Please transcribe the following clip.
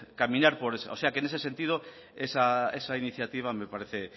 caminar o sea que en ese sentido esa iniciativa me parece